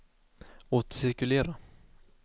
återcirkulera